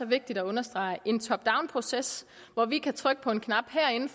vigtigt at understrege en top down proces hvor vi kan trykke på en knap herinde